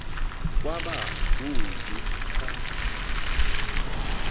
kwaba kubi xa